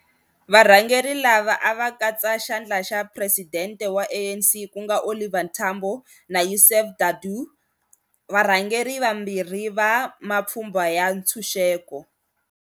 Varhangeri lava a va katsa Xandla xa Presidente wa ANC ku nga Oliver Tambo na Yusuf Dadoo, varhangeri vambirhi va mapfhumba ya ntshunxeko.